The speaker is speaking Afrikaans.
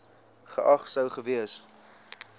geag sou gewees